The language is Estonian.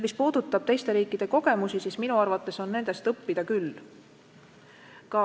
Mis puudutab teiste riikide kogemusi, siis minu arvates on nendest õppida küll.